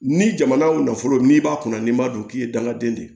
Ni jamana nafolo n'i b'a kɔnɔ n'i m'a dɔn k'i ye dangaden de ye